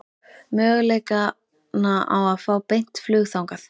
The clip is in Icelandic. Möguleikana á að fá beint flug þangað?